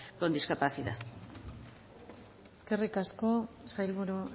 con discapacidad eskerrik asko sailburu